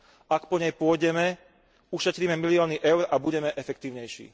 Ak po nej pôjdeme, ušetríme milióny eur a budeme efektívnejší.